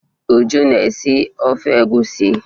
Uju na-esi ofe egwusi.